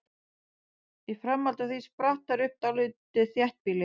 Í framhaldi af því spratt þar upp dálítið þéttbýli.